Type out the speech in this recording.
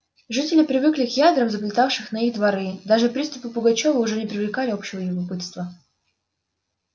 жители привыкли к ядрам залетавшим на их дворы даже приступы пугачёва уж не привлекали общего любопытства